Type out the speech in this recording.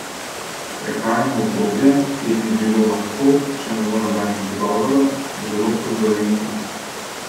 Prehajamo v obdobje, ki bi bilo lahko, če ne bo nobenih dogovorov, zelo turbulentno.